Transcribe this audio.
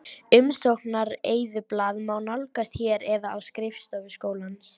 Umsóknareyðublað má nálgast hér eða á skrifstofu skólans.